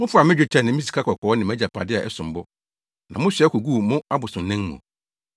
Mofaa me dwetɛ ne me sikakɔkɔɔ ne mʼagyapade a ɛsom bo, na mosoa koguu mo abosonnan mu.